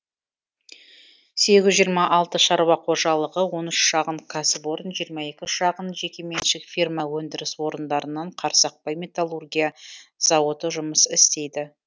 сегіз жүз жиырма алты шаруа қожалығы он үш шағын кәсіпорын жиырма екі шағын жекеменшік фирма өндіріс орындарынан қарсақбай металлургия зауыты жұмыс істейді